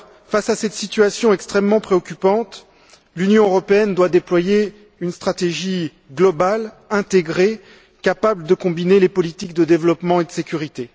Face à cette situation extrêmement préoccupante, l'Union européenne doit déployer une stratégie globale, intégrée, capable de combiner les politiques de développement et de sécurité.